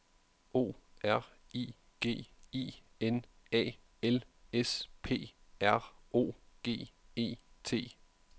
O R I G I N A L S P R O G E T